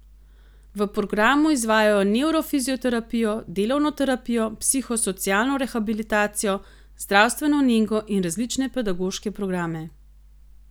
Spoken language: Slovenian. V programu izvajajo nevrofizioterapijo, delovno terapijo, psihosocialno rehabilitacijo, zdravstveno nego in različne pedagoške programe.